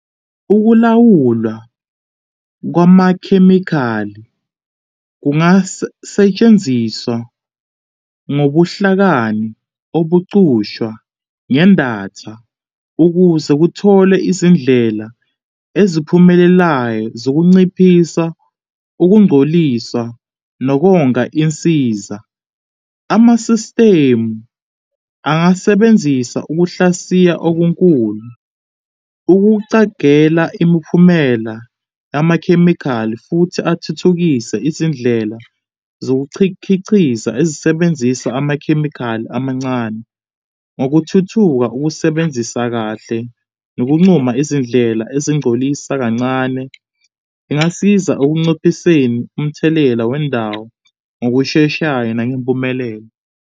Ukulawulwa kwamakhemikhali setshenziswa ngobuhlakani obucushwa ngendatha ukuze kuthole izindlela eziphumelelayo zokunciphisa ukungcoliswa nokonga insiza. Amasistimu angasebenzisa ukuhlasiya okunkhulu, ukucagela imiphumela yamakhemikhali futhi athuthukise izindlela zokukichikiza ezisebenzisa amakhemikhali amancane ngokuthuthuka ukusebenzisa kahle nokuncuma izindlela ezingcolisa kancane. Kungasiza ekunciphiseni umthelela wendawo ngokusheshayo nangempumelelo.